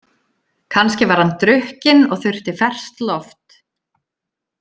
Kannski var hann drukkinn og þurfti ferskt loft.